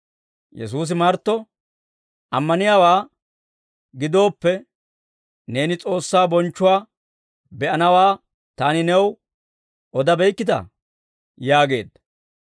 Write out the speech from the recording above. Yesuusi Martto, «Ammaniyaawaa gidooppe, neeni S'oossaa bonchchuwaa be'anawaa Taani new odabeykkitaa?» yaageedda.